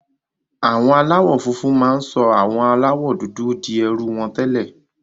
Àwọn aláwọ̀ funfun máa ń sọ àwọn aláwọ̀ dúdú di ẹrú wọn tẹ́lẹ̀.